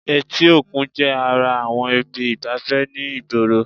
Etí òkun jẹ́ ara àwọn ibi ìgbafẹ́ ni ìgboro